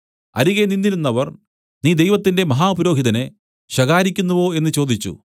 അരികെ നിന്നിരുന്നവർ നീ ദൈവത്തിന്റെ മഹാപുരോഹിതനെ ശകാരിക്കുന്നുവോ എന്നു ചോദിച്ചു